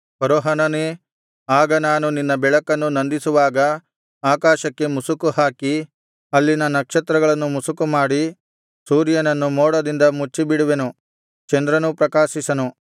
ಫರೋಹನನೇ ಆಗ ನಾನು ನಿನ್ನ ಬೆಳಕನ್ನು ನಂದಿಸುವಾಗ ಆಕಾಶಕ್ಕೆ ಮುಸುಕುಹಾಕಿ ಅಲ್ಲಿನ ನಕ್ಷತ್ರಗಳನ್ನು ಮಸುಕುಮಾಡಿ ಸೂರ್ಯನನ್ನು ಮೋಡದಿಂದ ಮುಚ್ಚಿಬಿಡುವೆನು ಚಂದ್ರನೂ ಪ್ರಕಾಶಿಸನು